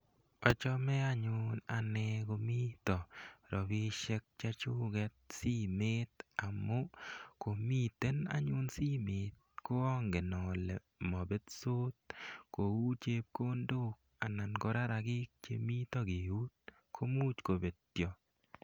Achame anyun ane komita rapishek che chuket simet amu komiten anyun simet ko angen ale mapetos kou chepkondok anan ko rarakik che mita keut ko much kopetya.